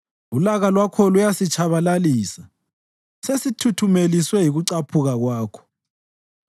Ulaka lwakho luyasitshabalalisa sithuthumeliswe yikucaphuka kwakho.